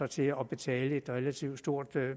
til at betale et relativt stort